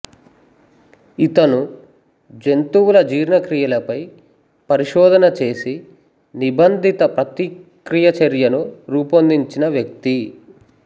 ఇతను జంతువుల జీర్ణక్రియలపై పరిశోధన చేసి నిబంధిత ప్రతిక్రియ చర్యను రూపొందించిన వ్యక్తి